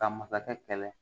Ka masakɛ kɛlɛ